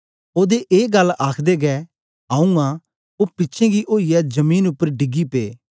ओदे ए गल्ल आखदे गै आऊँ आं ओ पिछें गी ओईयै जमीन उपर डिगी पे